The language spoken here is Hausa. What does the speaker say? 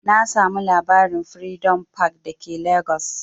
Na samu labarin'Freedom park' da ke legas